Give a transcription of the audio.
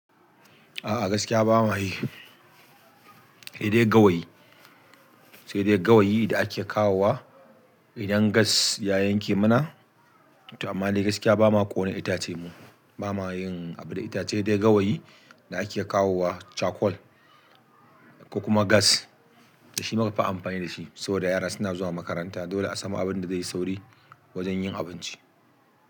A'a gaskiya ba mayi, sai dai gawayi sai dai gawayi da ake kawowa idan gas ya yanke mana amma dai gaskiya ba ma ƙone itace mu, ba ma yin abu da itace dai gawayi da ake kawowa, charcoal ko kuma gas da shi muka fi amfani da shi saboda yara suna zuwa makaranta dole a samu abin da zai yi sauri wajen yin abinci.